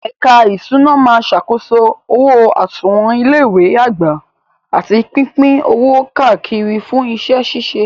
Ẹ̀ka ìṣúná máa ṣàkóso owó àsùnwọ̀n ilé ìwé àgbà àti pípín owó káàkiri fún iṣẹ́ ṣíṣe.